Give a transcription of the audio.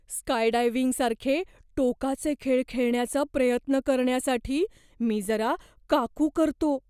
स्कायडायव्हिंगसारखे टोकाचे खेळ खेळण्याचा प्रयत्न करण्यासाठी मी जरा का कू करतो.